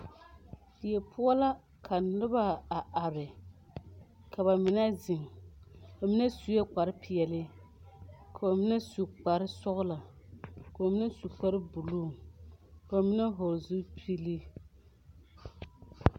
Die poɔ la ka noba a are ka ba mine ziŋ ba mine sue kpare peɛle ka ba mine su kpare sɔglɔ ka ba mine su kpare buluu ka ba mine vɔgle zupile.